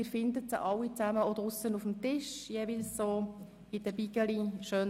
Sie finden diese Petitionen draussen in der Wandelhalle auf dem Tisch.